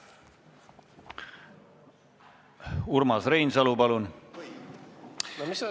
Urmas Reinsalu, palun!